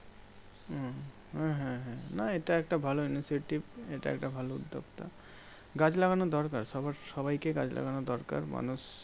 হম হ্যাঁ হ্যাঁ না এটা একটা ভালো initiative এটা একটা ভালো উদ্যোক্তা। গাছ লাগানোর দরকার। সবার সবাইকে গাছ লাগানোর দরকার। মানুষ